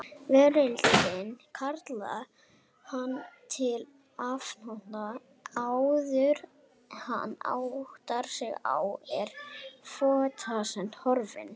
Veröldin kallar hann til athafna og áðuren hann áttar sig er fótfestan horfin.